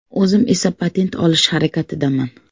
O‘zim esa patent olish harakatidaman.